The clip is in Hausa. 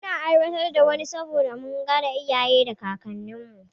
Muna aiwatar wa ne saboda mun gada iyaye da kakanni